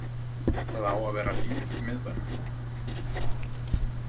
Það á að vera líf í miðbænum.